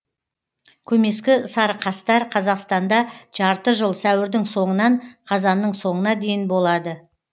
көмескі сарықастар қазақстанда жарты жыл сәуірдің соңынан қазанның соңына дейін болады